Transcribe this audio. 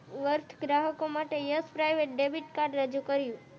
worth ગ્રાહકો માટે yes private debit card રજૂ કર્યું